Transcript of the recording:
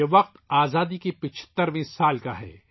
یہ وقت آزادی کے 75 ویں سال کا ہے